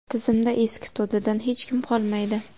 Tizimda eski to‘dadan hech kim qolmaydi.